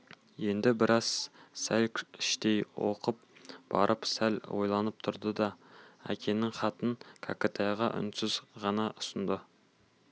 енді біраз сәл іштей оқып барып сәл ойланып тұрды да әкесінің хатын кәкітайға үнсіз ғана ұсынды